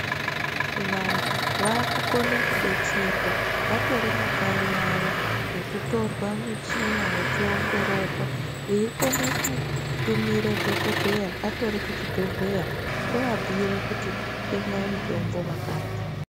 Vantu vakukone kudetserwa vatori makanyi avo, ngekutorwa michina vechiongororwa veikone kutumire dhokodheya atori kuchibhedhleya, ovabhuyire kuti tengai mutombo wakati.